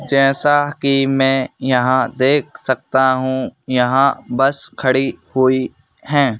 जैसा कि मैं यहां देख सकता हूं यहां बस खड़ी हुई है।